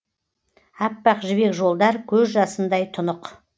аппақ жібек жолдар көз жасындай тұнық